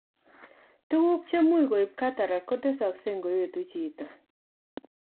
Tuguk chemuch koib cataract kotesogsei ngoetu chito